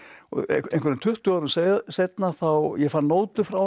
einhverjum tuttugu árum seinna ég fann nótu frá honum